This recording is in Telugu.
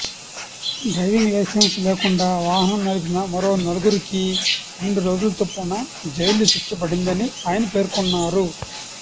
డ్రైవింగ్ లైసెన్స్ లేకుండా వాహనం నడిపిన మరో నలుగురికీ రెండు రోజుల చొప్పున జైలు శిక్ష పడిందని ఆయన పేర్కొన్నారు